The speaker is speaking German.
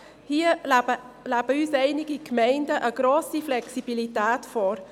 Hier leben uns einige Gemeinden eine grosse Flexibilität vor.